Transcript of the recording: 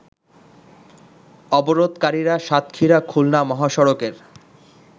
অবরোধকারীরা সাতক্ষীরা খুলনা মহাসড়কের